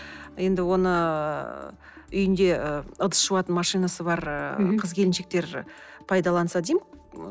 енді оны ыыы үйінде ыдыс жуатын машинасы бар мхм қыз келіншектер пайдаланса деймін